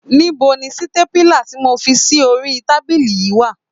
Níbo ni sítépúlà tí mo fi sí orí tábílì yìí wà?